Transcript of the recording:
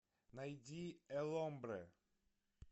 найди э ломбрэ